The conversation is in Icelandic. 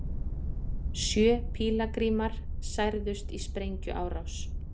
Sjö pílagrímar særðust í sprengjuárás